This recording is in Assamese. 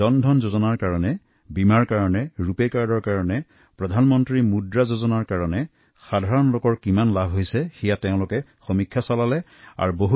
জন ধন যোজনা ৰূপে কাৰ্ড প্ৰধানমন্ত্ৰী মুদ্ৰা যোজনা বীমাৰ বাবে সাধাৰণ মানুহৰ কিমান উপকাৰ হৈছে তাৰ অনেক উৎসাহজনক ফলাফল মোক জনাইছে